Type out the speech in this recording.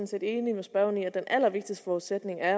set enig med spørgeren i at den allervigtigste forudsætning jo er